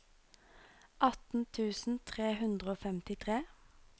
atten tusen tre hundre og femtitre